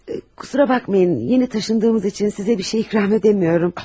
Bağışlayın, yeni köçdüyümüz üçün sizə bir şey ikram edə bilmirəm.